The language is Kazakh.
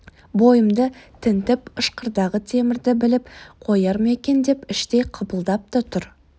бойымды тінтіп ышқырдағы темірді біліп қояр ма екен деп іштей қыпылдап та тұр